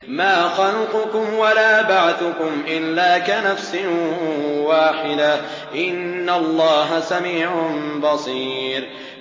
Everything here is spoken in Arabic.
مَّا خَلْقُكُمْ وَلَا بَعْثُكُمْ إِلَّا كَنَفْسٍ وَاحِدَةٍ ۗ إِنَّ اللَّهَ سَمِيعٌ بَصِيرٌ